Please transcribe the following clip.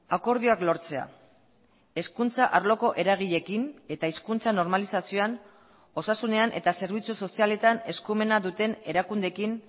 akordioak lortzea hezkuntza arloko eragileekin eta hizkuntza normalizazioan osasunean eta zerbitzu sozialetan eskumena duten erakundeekin